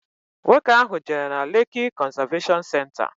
Nwoke ahu jere na Lekki Conservation Centre.